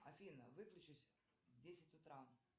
афина выключись в десять утра